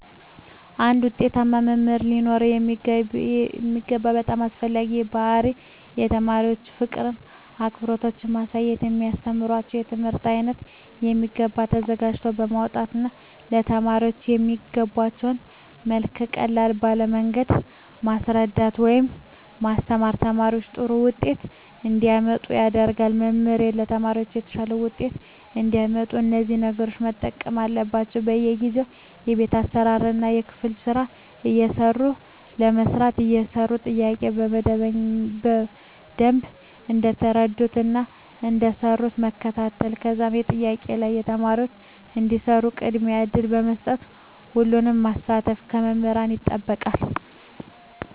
አንድ ዉጤታማ መምህር ሊኖረዉ የሚገባ በጣም አስፈላጊዉ ባህሪይ ለተማሪዎች ፍቅርን አክብሮትን ማሳየት የሚያስተምራቸዉን የትምህርት አይነት በሚገባ ተዘጋጅተዉ በመምጣት ለተማሪዎች በሚገቧቸዉ መልኩ ቀለል ባለ መንገድ ማስረዳት ወይም ማስተማር ተማሪዎች ጥሩ ዉጤት እንዲያመጡ ያደርጋል መምህራን ለተማሪዎች የተሻለ ዉጤት እንዲያመጡ እነዚህን ነገሮች መጠቀም አለባቸዉ በየጊዜዉ የቤት ስራእና የክፍል ስራ እየሰጡ በማሰራት የሰሩትን ጥያቄዎች በደንብ እንደሰሩትእና እንዳልሰሩት መከታተል ከዛም በጥያቄዎች ላይ ተማሪዎች እንዲሰሩት ቅድሚያ እድል በመስጠት ሁሉንም ማሳተፍ ከመምህራን ይጠበቃል